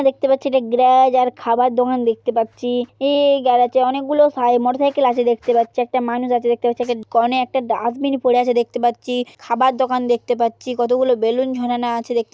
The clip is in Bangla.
দেখতে পাচ্ছি এটা গ্যারেজ আর খাবার দোকান দেখতে পাচ্ছি এই এই গ্যারাজ -এ অনেক গুলো সাই মোটরসাইকেল আছে দেখতে পাচ্ছি একটা মানুষ আছে দেখতে পাচ্ছি একটা কনে একটা ডাস্টবিন পরে আছে দেখতে পাচ্ছি খাবার দোকান দেখতে পাচ্ছি কতগুলো বেলুন ঝোলানো আছে দেখ--